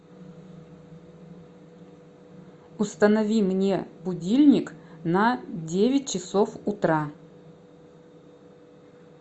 установи мне будильник на девять часов утра